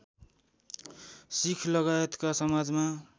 शिखलगायतका समाजमा